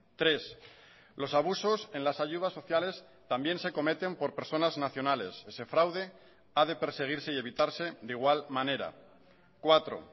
tres los abusos en las ayudas sociales también se cometen por personas nacionales ese fraude ha de perseguirse y evitarse de igual manera cuatro